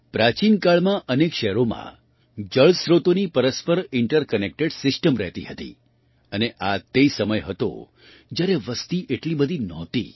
પ્રાચીન કાળમાં અનેક શહેરોમાં જળ સ્રોતોની પરસ્પર ઇન્ટર કનેક્ટેડ સિસ્ટમ રહેતી હતી અને આ તે સમય હતો જ્યારે વસતિ એટલી બધી નહોતી